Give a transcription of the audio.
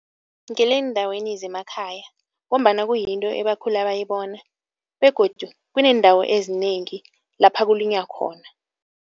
Ngeleendaweni zemakhaya ngombana kuyinto ebakhula bayibona begodu kuneendawo ezinengi lapha kulinywa khona.